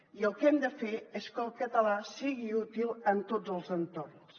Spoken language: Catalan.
i el que hem de fer és que el català sigui útil en tots els entorns